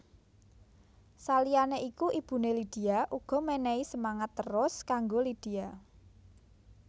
Saliyané iku ibuné Lydia uga menehi semangat terus kanggo Lydia